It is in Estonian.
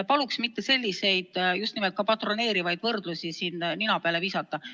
Paluks mitte selliseid just nimelt ka patroneerivaid võrdlusi nina peale visata.